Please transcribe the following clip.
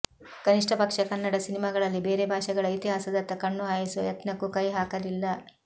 ಕನಿಷ್ಠ ಪಕ್ಷ ಕನ್ನಡ ಸಿನಿಮಾಗಳಲ್ಲಿ ಬೇರೆ ಭಾಷೆಗಳ ಇತಿಹಾಸದತ್ತ ಕಣ್ಣು ಹಾಯಿಸುವ ಯತ್ನಕ್ಕೂ ಕೈ ಹಾಕಲಿಲ್ಲ